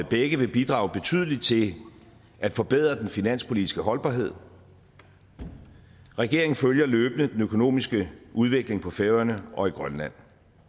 begge vil bidrage betydeligt til at forbedre den finanspolitiske holdbarhed regeringen følger løbende den økonomiske udvikling på færøerne og i grønland